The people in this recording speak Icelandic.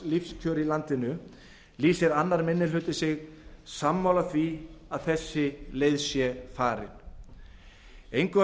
lágmarkslífskjör í landinu lýsir annar minni hluti sig sammála því að þessi leið sé farin engu að